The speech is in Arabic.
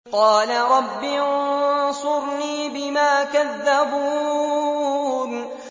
قَالَ رَبِّ انصُرْنِي بِمَا كَذَّبُونِ